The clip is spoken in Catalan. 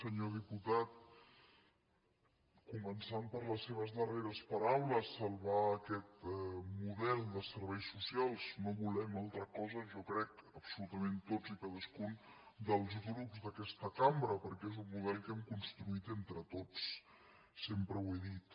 senyor diputat comen·çant per les seves darreres paraules salvar aquest mo·del de serveis socials no volem altra cosa jo crec absolutament tots i cadascun dels grups d’aquesta cambra perquè és un model que hem construït entre tots sempre ho he dit